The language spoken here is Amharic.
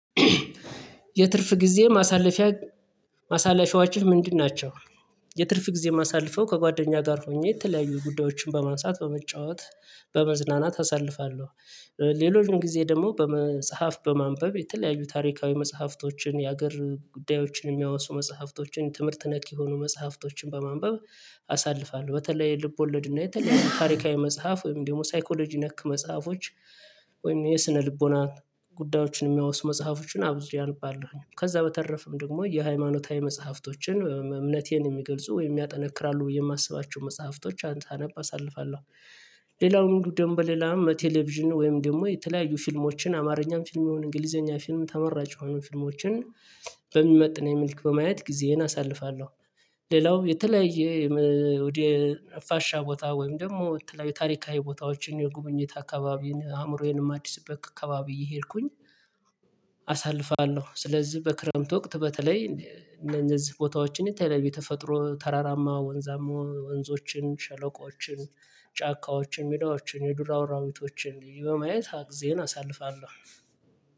የትርፍ ጊዜ ማሳለፊያ ማሳለፊያዎችህ ምንድን ናቸው? የትርፍ ጊዜ ማሳልፈው ከጓደኛ ጋር ሆኜ የተለያዩ ጉዳዮችን በማንሳት በመጫወት በመዝናናት አሳልፋለሁ። ሌሎችም ጊዜ ደግሞ በመጽሐፍ በማንበብ የተለያዩ ታሪካዊ መጽሐፍቶችን የሀገር ጉዳዮችን የሚያወሱ መጽሐፍቶችን ትምህርት ነክ የሆኑ መጽሐፍቶችን በማንበብ አሳልፋለሁ። በተለይ ልቦለድ እና የተለያዩ ታሪካዊ መጽሐፍ ወይም ደግሞ ሳይኮሎጂ ነክ መጽሐፎች ወይም የስነ ልቦና ጉዳዮችን የሚያወሱ መጽሐፎችን አብዝሬ አልባለሁኝ ከዛ በተረፈም ደግሞ የሃይማኖታዊ መጽሐፍቶችን እ እምነቴን የሚገልጹ ወይም ያጠነክራሉ የማስባቸው መጽሐፍቶች አንተ አነብ አሳልፋለሁ። ሌላው ሁሉ ደንም በሌላም ቴሌቪዥን ወይም ደግሞ የተለያዩ ፊልሞችን አማርኛም ፊልም የሆነ እንግሊዘኛ ፊልም ተመራጭ የሆኑ ፊልሞችን በሚመጥን የሚልክ በማየት ጊዜዬን አሳልፋለሁ። ሌላው የተለያየ የም ወደ ፋሻ ቦታ ወይም ደግሞ የተለያየ ታሪካዊ ቦታዎችን የጉብኝት አካባቢን አእምሮዬንም አዲስ አበባ አካባቢ እየሄድኩኝ አሳልፋለሁ። ስለዚህ በክረምት ወቅት በተለይ እነዚህ ቦታዎችን የተለየ ተፈጥሮ ተራራማ ወንዛሞ ወንዞችን ሸለቆችን ጫካዎችን ሜዳዎችን የዱር አራዊቶችን በማየት አ ግዜን አሳልፋለሁ።